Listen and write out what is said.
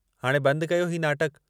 हाणे बंद कयो हीउ नाटकु।